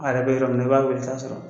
A yɛrɛ bɛ yɔrɔ min na i b'a weele i t'a sɔrɔ.